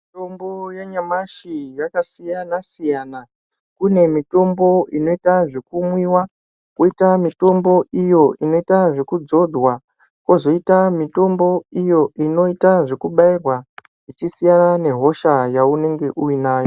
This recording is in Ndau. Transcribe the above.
Mitombo yanyamashi yakasiyana siyana kune mitombo inoita zvekumwiwa kwoita mitombo iyo inoita zvekuzodzwa kwozoita mitombo iyo inoita zvekubairwa zvichisiyana nehosha yaunenge uinayo.